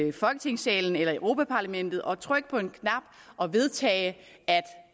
i folketingssalen eller i europa parlamentet og trykke på en knap og vedtage at